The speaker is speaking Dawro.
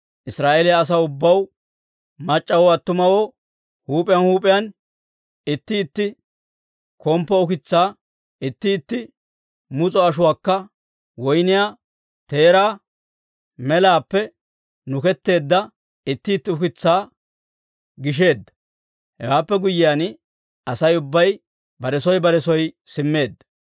Israa'eeliyaa asaw ubbaw, mac'c'awoo attumawoo huup'iyaan huup'iyaan itti itti komppo ukitsaa, itti itti mus'o ashuwaakka woyniyaa teeraa melaappe nuketteedda itti itti ukitsaa gisheedda. Hewaappe guyyiyaan Asay ubbay bare soo bare soo simmeedda.